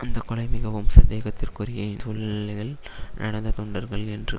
அந்தக்கொலை மிகவும் சந்தேகத்திற்குரிய சூழ்நிலைகளில் நடந்த தொண்டர்கள் என்று